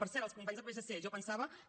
per cert els companys del psc jo pensava que